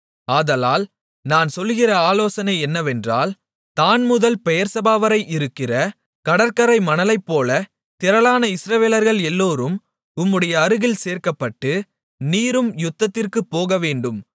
ஆதலால் நான் சொல்லுகிற ஆலோசனை என்னவென்றால் தாண்முதல் பெயெர்செபாவரை இருக்கிற கடற்கரை மணலைப்போல திரளான இஸ்ரவேலர்கள் எல்லோரும் உம்முடைய அருகில் சேர்க்கப்பட்டு நீரும் யுத்தத்திற்குப் போகவேண்டும்